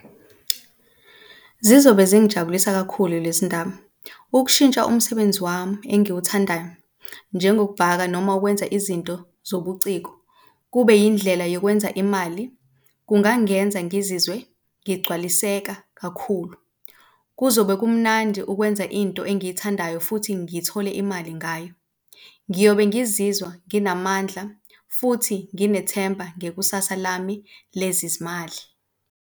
Zizobe zingijabulisa kakhulu lezi ndaba. Ukushintsha umsebenzi wami engiwuthandayo, njengokubhaka noma ukwenza izinto zobuciko kube yindlela yokwenza imali kungangenza ngizizwe ngigcwaliseka kakhulu. Kuzobe kumnandi ukwenza into engiyithandayo futhi ngithole imali ngayo. Ngiyobe ngizizwa nginamandla futhi nginethemba ngekusasa lami lezizimali.